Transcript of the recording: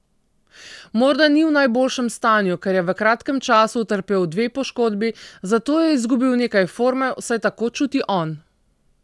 Morda ni v najboljšem stanju, ker je v kratkem času utrpel dve poškodbi, zato je izgubil nekaj forme, vsaj tako čuti on.